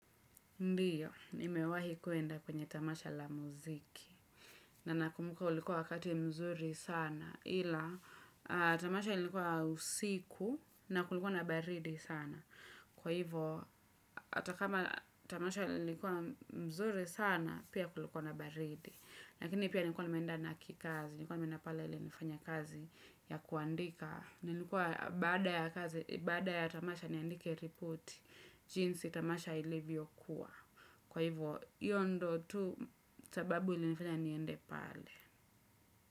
Ndiyo, nimewahi kwenda kwenye tamasha la muziki. Na nakumbuka ulikuwa wakati mzuri sana, ila tamasha lilikuwa usiku na kulikuwa na baridi sana. Kwa hivyo, hatakama tamasha lilikuwa mzuri sana, pia kulikuwa na baridi. Lakini pia nilikuwa nimeenda na kikazi, nilikuwa nimeenda pale ili nifanye kazi ya kuandika. Nilikuwa baada ya tamasha niandike ripoti jinsi tamasha ilivyokuwa. Kwa hivyo, hiyo ndo tu sababu ilinifanya niende pale.